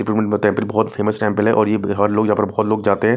बहोत famous temple है और ये हर लोग बहोत लोग जाते हैं।